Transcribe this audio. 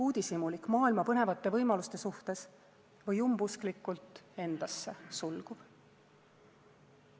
Uudishimulik maailma põnevate võimaluste suhtes või umbusklikult endasse sulguv?